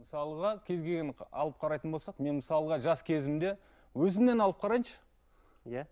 мысалға кез келген алып қарайтын болсақ мен мысалға жас кезімде өзімнен алып қарайыншы иә